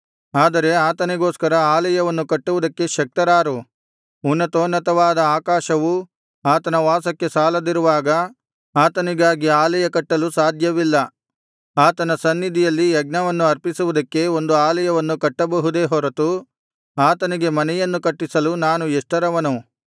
ಆದರೆ ಆತನಿಗೋಸ್ಕರ ಆಲಯವನ್ನು ಕಟ್ಟುವುದಕ್ಕೆ ಶಕ್ತರಾರು ಉನ್ನತೋನ್ನತವಾದ ಆಕಾಶವೂ ಆತನ ವಾಸಕ್ಕೆ ಸಾಲದಿರುವಾಗ ಆತನಿಗಾಗಿ ಆಲಯ ಕಟ್ಟಲು ಸಾಧ್ಯವಿಲ್ಲ ಆತನ ಸನ್ನಿಧಿಯಲ್ಲಿ ಯಜ್ಞವನ್ನು ಅರ್ಪಿಸುವುದಕ್ಕೆ ಒಂದು ಆಲಯವನ್ನು ಕಟ್ಟಬಹುದೇ ಹೊರತು ಆತನಿಗೆ ಮನೆಯನ್ನು ಕಟ್ಟಿಸಲು ನಾನು ಎಷ್ಟರವನು